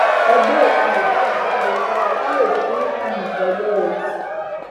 ẹ gbé òkú mohbad jáde fún wa ká lè sin ín tiyítẹyẹ o